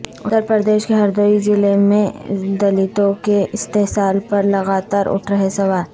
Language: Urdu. اتر پردیش کے ہردوئی ضلع میں دلتوں کے استحصال پر لگاتار اٹھ رہے سوال